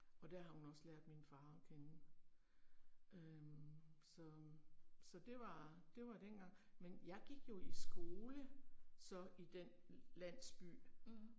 Og der har hun også lært min far at kende. Øh, så øh, så det var, det var dengang, men jeg gik jo i skole så, i den landsby